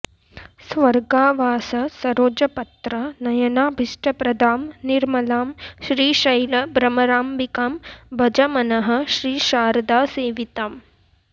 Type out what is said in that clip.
स्वर्गावास सरोजपत्र नयनाभीष्टप्रदां निर्मलां श्रीशैल भ्रमराम्बिकां भज मनः श्रीशारदासेविताम्